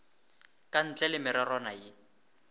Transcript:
ka ntle le mererwana ye